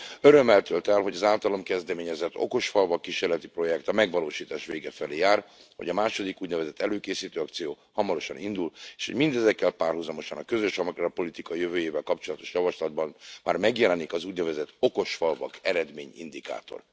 Örömmel tölt el, hogy az általam kezdeményezett okosfalvak kísérleti projekt a megvalósítás vége felé jár, hogy a második úgynevezett előkészítő akciónk hamarosan indul, és mindezekkel párhuzamosan a közös agrárpolitika jövőjével kapcsolatos javaslatban már megjelenik az úgynevezett okosfalvak eredmény indikátor.